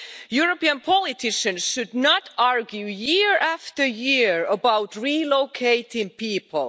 European politicians should not argue year after year about relocating people.